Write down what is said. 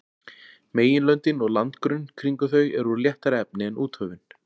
Meginlöndin og landgrunn kringum þau eru úr léttara efni en úthöfin.